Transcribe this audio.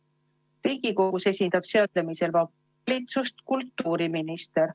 Riigikogus esindab seaduseelnõu menetlemisel valitsust kultuuriminister.